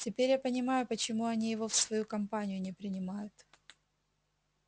теперь я понимаю почему они его в свою компанию не принимают